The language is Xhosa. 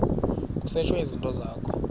kusetshwe izinto zakho